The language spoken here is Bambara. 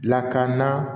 Lakana